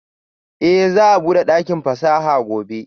Eh za'a bude dakin fasaha gobe?